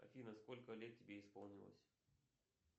афина сколько лет тебе исполнилось